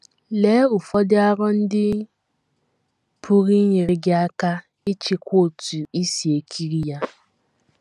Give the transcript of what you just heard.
Lee ụfọdụ aro ndị pụrụ inyere gị aka ịchịkwa otú i si ekiri ya.